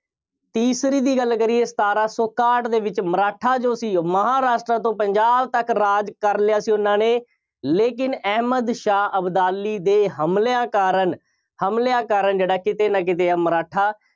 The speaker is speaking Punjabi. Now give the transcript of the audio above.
ਤੀਸਰੀ ਦੀ ਗੱਲ ਕਰੀਏ। ਸਤਾਰਾਂ ਸੌ ਇਕਾਹਠ ਦੇ ਵਿੱਚ ਮਰਾਠਾ ਜੋ ਸੀ, ਮਹਾਂਰਾਸ਼ਟਰ ਤੋਂ ਪੰਜਾਬ ਤੱਕ ਰਾਜ ਕਰ ਲਿਆ ਸੀ, ਉਹਨਾ ਨੇ, ਲੇਕਿਨ ਅਹਿਮਦ ਸ਼ਾਹ ਅਬਦਾਲੀ ਦੇ ਹਮਲਿਆਂ ਕਾਰਨ, ਹਮਲਿਆਂ ਕਾਰਨ ਜਿਹੜਾ ਕਿਤੇ ਨਾ ਕਿਤੇ ਆ ਮਰਾਠਾ